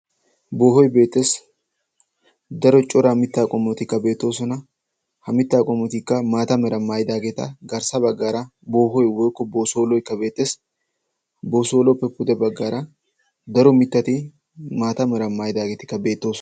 Boohoy beetes; daro mitta qommotikka beetosona; ha mitta qommotika maataa mera maayidageta. Garssa baggaara boohoy woykko boosoloykka beetees. Boosoluwape puudebaggaara daro mittati maataa mera maayidageti beetosona.